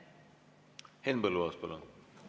Henn Põlluaas, palun!